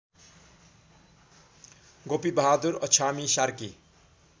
Gopibahadur Achhami Sarki